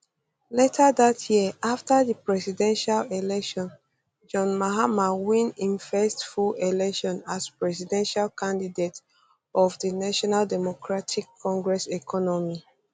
later dat year afta di presidential election john mahama win im first full election as presidential candidate of di of di national democratic congress economy